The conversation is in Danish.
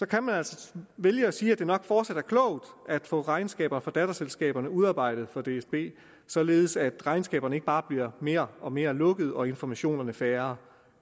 kan man altså vælge at sige at det nok fortsat er klogt at få regnskaber for datterselskaberne udarbejdet for dsb således at regnskaberne ikke bare bliver mere og mere lukkede og informationerne færre